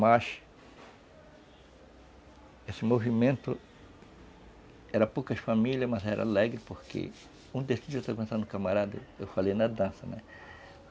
Mas esse movimento era poucas famílias, mas era alegre, porque um destes dias eu estava pensando no camarada, eu falei na dança, né?